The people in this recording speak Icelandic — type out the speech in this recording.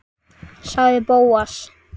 sagði Bóas.